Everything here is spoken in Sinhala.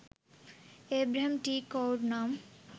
ඒබ්‍රහම් ටී කොවුර් නම්